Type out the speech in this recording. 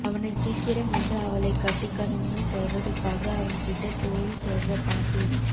அவனைச் சீக்கிரம் வந்து அவளைக் கட்டிக்கணும்னு சொல்லறதுக்காக அவன்கிட்ட தோழி சொல்ற பாட்டு இது